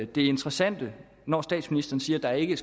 det interessante når statsministeren siger at der ikke